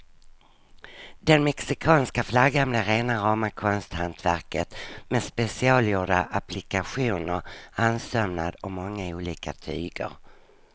Den mexikanska flaggan blev rena rama konsthantverket med specialgjorda applikationer, handsömnad och många olika tyger.